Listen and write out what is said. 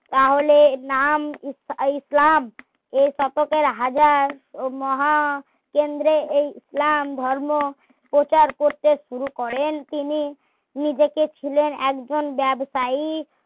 তাহলে এর নাম ই ~ইসলাম এই শতকের হাজার মহা কেন্দ্রে এই ইসলাম ধর্ম প্রচার করতে শুরু করেন তিনি নিজেকে ছিলেন একজন ব্যাবসায়ী